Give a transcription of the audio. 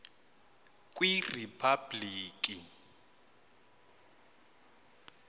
kwiriphabliki